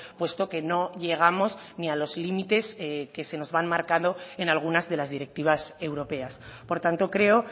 puesto que no llegamos ni a los límites que se nos han marcado en algunas de las directivas europeas por tanto creo